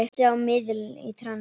Minnti á miðil í trans.